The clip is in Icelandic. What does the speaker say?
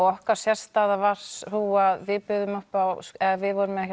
okkar sérstaða var sú að við buðum upp á eða við vorum með